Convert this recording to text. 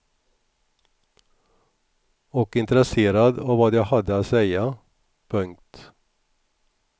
Och intresserad av vad jag hade att säga. punkt